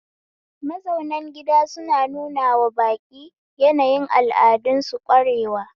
Mazaunan gida suna nunawa baƙi yanayin al'adun su ƙwarewa